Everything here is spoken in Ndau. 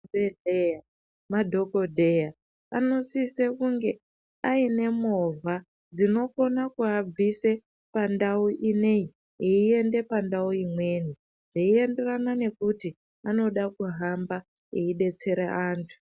Mu zvibhehleya ma dhokodheya ano sise kunge aine movha dzinokona kuabvise pandau ineyi eyi ende pandau imweni zvei enderana nekuti anoda kuhamba eyi detsera antu.